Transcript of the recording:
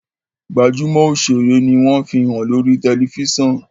gbajúmò òṣèré ní wón fihàn lórí tẹlifísàn.